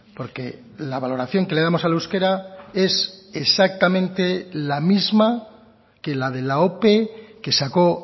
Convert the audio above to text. porque la valoración que le damos al euskera es exactamente la misma que la de la ope que sacó